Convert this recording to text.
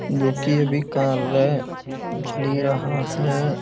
जोकि अभी कार्य चल ही रहा है।